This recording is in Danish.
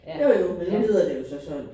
Jo jo men nu hedder det jo så sådan